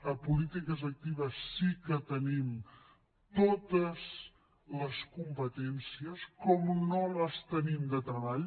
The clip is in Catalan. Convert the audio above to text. a polítiques actives sí que tenim totes les competències com no les tenim de treball